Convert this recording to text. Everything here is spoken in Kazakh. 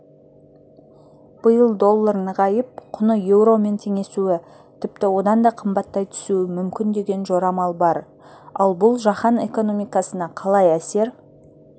биыл доллар нығайып құны еуромен теңесуі тіпті одан да қымбаттай түсуі мүмкін деген жорамал бар ал бұл жаһан экономикасына қалай әсер